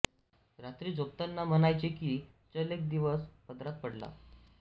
रात्री झोपताना म्हणायचे की चल एक दिवस पदरात पडला